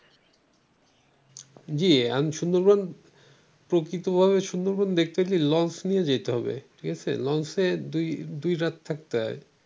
আমি সুন্দরবন প্রকৃতভাবে সুন্দরবন দেখতে গেলে লঞ্চ নিয়ে যেতে হবে ঠিক আছে লঞ্চ দুই রাত থাকতে হয় ।